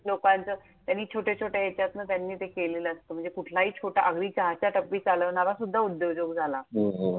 लोकांचं, त्यांनी छोट्या छोट्या येतात ना, त्यांनी ते केलेलं असतं. म्हणजे कुठलाही छोटा, अगदी चहाच्या टपरी चालवणारा सुद्धा उद्योजक झाला. हो हो!